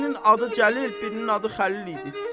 Birinin adı Cəlil, birinin adı Xəlil idi.